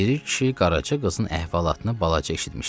Piri kişi Qaraca qızın əhvalatını azca eşitmişdi.